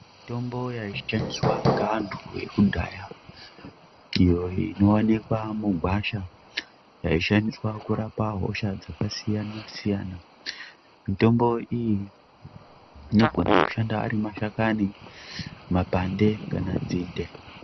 Mitombo yaishandiswa ngevantu vekudhaya iyo inoonekwa mungwasha yaishandiswa kurapa hosha dzakasiyana-siyana, mitombo iyi inogona kushanda ari mashakanyi mapande kana nzinde.